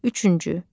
Üçüncü.